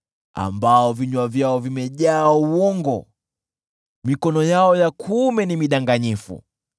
ambao vinywa vyao vimejaa uongo, na mikono yao ya kuume ni midanganyifu.